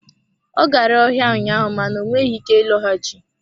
Ọ gara ọhịa ụnyaahụ mana ọ nweghị ike ịlọghachi.